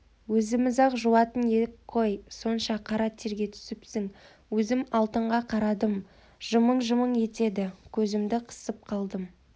өзіміз-ақ жуатын ек қой сонша қара терге түсіпсің өзім алтынға қарадым жымың-жымың етеді көзімді қысып қалдым